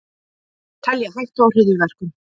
Telja hættu á hryðjuverkum